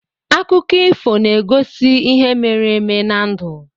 Akụkọ ifo na-egosi ihe mere eme na ndụ.